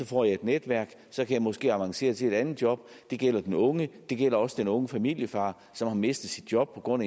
få et netværk så jeg måske kan avancere til et andet job det gælder den unge det gælder også den unge familiefar som har mistet sit job på grund